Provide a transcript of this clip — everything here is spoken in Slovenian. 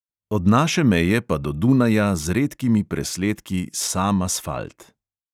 Od naše meje pa do dunaja z redkimi presledki sam asfalt.